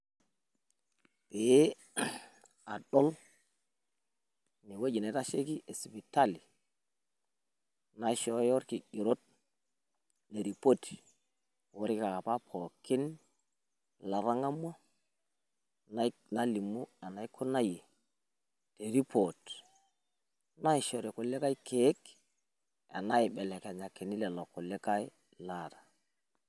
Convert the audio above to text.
Eee adool ewueji naitasheiki e sipitali naishooyo ilkigeroot oripoti olkeek apa latang'amuaa nalimu enaikunayiee te report naishori ilkuliee keek enaibelekenyakini lelo kulie laata